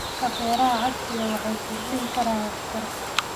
Hababka beeraha casriga ah waxay kordhin karaan waxtarka.